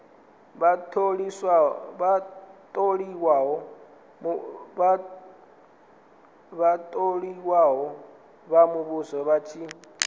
vhatholiwa vha muvhuso vha tshi